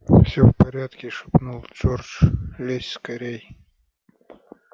все в порядке шепнул джордж лезь скорей